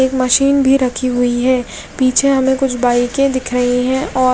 एक मशीन भी रखी हुई है पीछे हमें कुछ बाइके दिख रही है और--